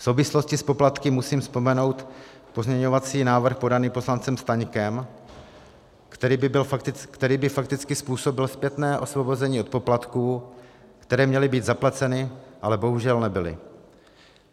V souvislosti s poplatky musím vzpomenout pozměňovací návrh podaný poslancem Staňkem, který by fakticky způsobil zpětné osvobození od poplatků, které měly být zaplaceny, ale bohužel nebyly.